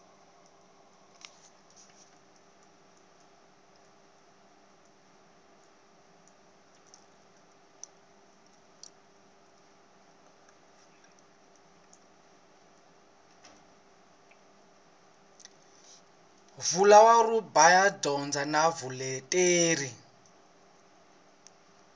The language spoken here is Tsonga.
vulawuri bya dyondzo na vuleteri